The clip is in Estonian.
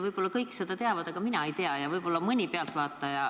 Võib-olla kõik teavad seda, aga mina ei tea ja võib-olla ka mõni pealtvaataja